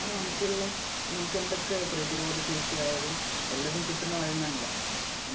നമുക്കൊരു നമുക്കെന്തൊക്കെ പ്രതിരോധ ശേഷി ആയാലും എല്ലാം കിട്ടുന്നത് അതിൽ നിന്നല്ലേ.